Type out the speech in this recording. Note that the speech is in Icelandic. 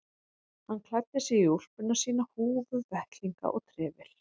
Hann klæddi sig í úlpuna sína, húfu, vettlinga og trefil.